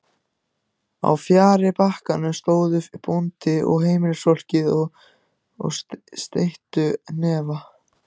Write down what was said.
Á fjarri bakkanum stóðu bóndinn og heimilisfólkið og steyttu hnefa.